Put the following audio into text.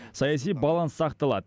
саяси баланс сақталады